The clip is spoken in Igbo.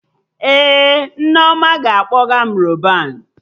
Ee, Nneoma ga-akpọga m Rọban